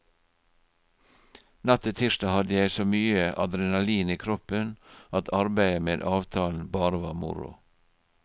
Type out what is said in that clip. Natt til tirsdag hadde jeg så mye adrenalin i kroppen at arbeidet med avtalen bare var moro.